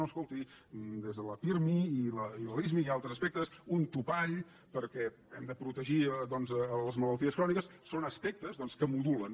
no escolti des de la pirmi i la lismi i altres aspectes un topall perquè hem de protegir doncs les malalties cròniques són aspectes que modulen